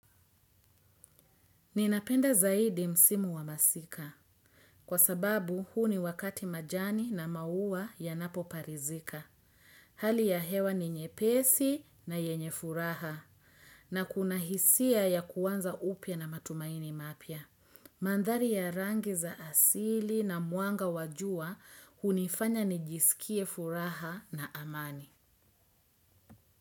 Ninapenda zaidi msimu wa masika. Kwa sababu huu ni wakati majani na maua yanapoparizika. Hali ya hewa ni nyepesi na yenye furaha. Na kuna hisia ya kuanza upya na matumaini mapya. Mandhari ya rangi za asili na mwanga wa jua hunifanya nijisikie furaha na amani.